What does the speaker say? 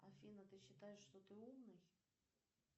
афина ты считаешь что ты умный